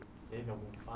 Teve algum